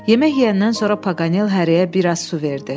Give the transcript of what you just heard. Yemək yeyəndən sonra Paqanel hərəyə bir az su verdi.